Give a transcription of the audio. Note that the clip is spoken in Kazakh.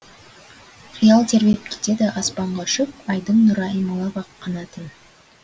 қиял тербеп кетеді аспанға ұшып айдың нұры аймалап ақ қанатын